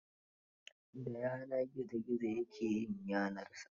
Da yana gizo gizo ya ke yin gidansa.